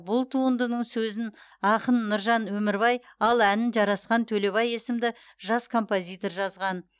бұл туындының сөзін ақын нұржан өмірбай ал әнін жарасхан төлебай есімді жас композитор жазған